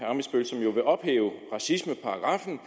ammitzbøll som jo vil ophæve racismeparagraffen